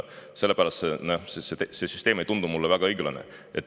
Sellepärast ei tundu see süsteem mulle väga õiglasena.